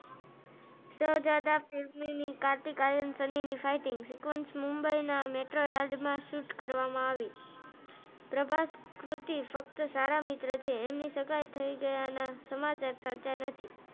કાર્તિક આર્યન સલી fighting sequence metro yard માં shoot કરવમાં આવી પ્રભાસ કૃતિ ફક્ત સારા મિત્રો છે સગાઇ થયા ના સમાચાર સાચા નથી.